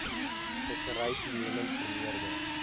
vissery toenemend vermeerder